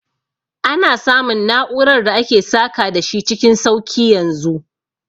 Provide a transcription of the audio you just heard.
Ana samun na'urar da ake saka da shi cikin sauki yanzu